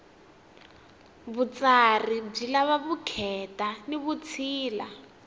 vutsari byi lava vukheta ni vutshila